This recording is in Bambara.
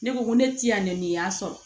Ne ko ŋo ne ti yan nɛni y'a sɔrɔ